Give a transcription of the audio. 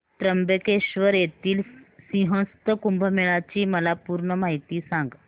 त्र्यंबकेश्वर येथील सिंहस्थ कुंभमेळा ची मला पूर्ण माहिती सांग